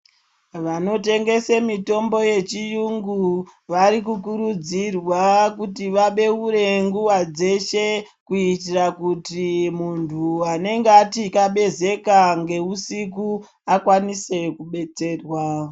Vanotengesa mitombo yechirungu vari kukurudzirwa kuti vabeure nguwa dzeshe kuitira kuti muntu anenge akatabezeka nehusiku akwanise kudetserwa.